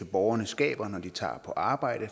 borgerne skaber når de tager på arbejde